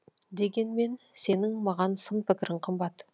дегенмен сенің маған сын пікірің қымбат